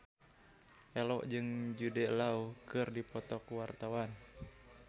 Ello jeung Jude Law keur dipoto ku wartawan